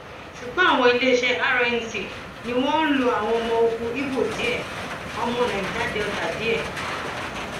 ṣùgbọn àwọn iléeṣẹ rnc ni wọn ń lo àwọn ọmọ ogun ibo díẹ ọmọ nàíjà delta díẹ